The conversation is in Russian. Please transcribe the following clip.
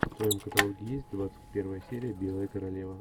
в твоем каталоге есть двадцать первая серия белая королева